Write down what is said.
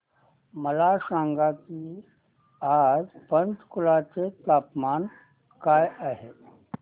मला सांगा की आज पंचकुला चे तापमान काय आहे